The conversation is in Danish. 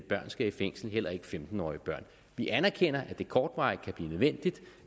børn skal i fængsel heller ikke femten årige børn vi anerkender at det kortvarigt kan blive nødvendigt